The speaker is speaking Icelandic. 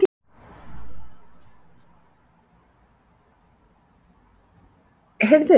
Sindri: Þannig að þú útilokar það ekki?